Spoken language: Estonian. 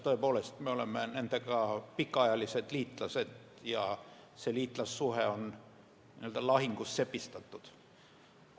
Tõepoolest me oleme nendega pikaajalised liitlased ja see liitlassuhe on n-ö lahingus sepistatud.